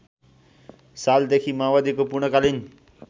सालदेखि माओवादीको पूर्णकालीन